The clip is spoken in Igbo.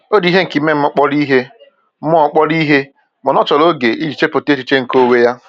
O ji ihe nke ime mmụọ kpọrọ ihe, mmụọ kpọrọ ihe, mana ọ chọrọ oge iji chepụta echiche nke onwe ya.